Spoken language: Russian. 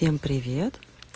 привет